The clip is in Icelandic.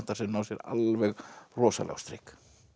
sem ná sér alveg rosalega á strik